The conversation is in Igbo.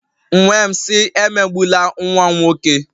M wee m sị, emegbula nwa m nwoke!